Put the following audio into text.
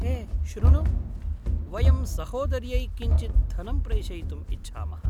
हे शृणु, वयं सहोदर्यै किञ्चित् धनं प्रेषयितुम् इच्छामः।